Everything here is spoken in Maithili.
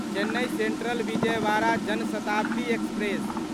Chennai central Vijayawada Jan Shatabdi express